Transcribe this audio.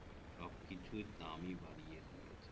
সব কিছুই দামই বাড়িয়ে দিয়েছ